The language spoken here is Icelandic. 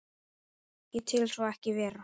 Ég tel svo ekki vera.